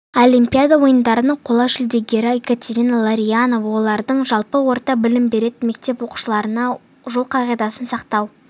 олимпиада ойындарының қола жүлдегері екатерина ларионова оралдың жалпы орта білім беретін мектеп оқушыларына жол қағидасын сақтау